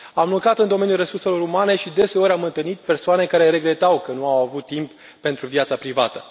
Am lucrat în domeniul resurselor umane și, deseori, am întâlnit persoane care regretau că nu au avut timp pentru viața privată.